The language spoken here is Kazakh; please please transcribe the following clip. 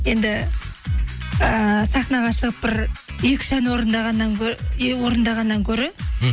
енді ііі сахнаға шығып бір екі үш ән орындағаннан гөрі мхм